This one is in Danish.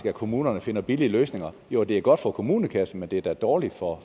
at kommunerne finder billige løsninger jo det er godt for kommunekassen men det er da dårligt for